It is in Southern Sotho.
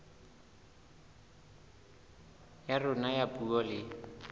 ya rona ya puo le